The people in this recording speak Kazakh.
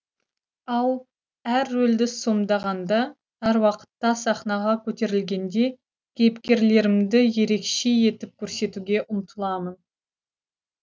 ал әр рөлді сомдағанда әр уақытта сахнаға көтерілгенде кейіпкерлерімді ерекше етіп көрсетуге ұмтыламын